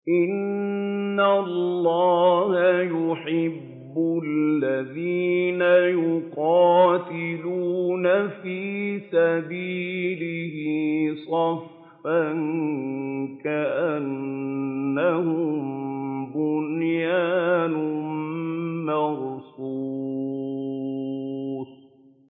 إِنَّ اللَّهَ يُحِبُّ الَّذِينَ يُقَاتِلُونَ فِي سَبِيلِهِ صَفًّا كَأَنَّهُم بُنْيَانٌ مَّرْصُوصٌ